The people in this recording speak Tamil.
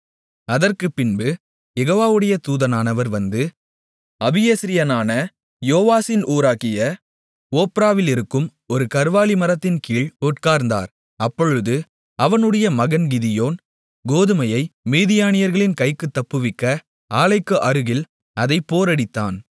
அதற்குப்பின்பு யெகோவாவுடைய தூதனானவர் வந்து அபியேஸ்ரியனான யோவாசின் ஊராகிய ஒப்ராவிலிருக்கும் ஒரு கர்வாலிமரத்தின்கீழ் உட்கார்ந்தார் அப்பொழுது அவனுடைய மகன் கிதியோன் கோதுமையை மீதியானியர்களின் கைக்குத் தப்புவிக்க ஆலைக்கு அருகில் அதைப் போரடித்தான்